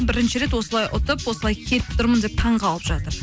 бірінші рет осылай ұтып осылай келіп тұрмын деп таңғалып жатыр